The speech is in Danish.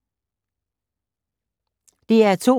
DR2